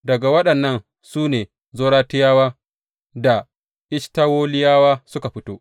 Daga waɗannan ne Zoratiyawa da Eshtawoliyawa suka fito.